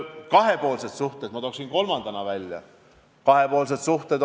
Kolmandana toon välja kahepoolsed suhted.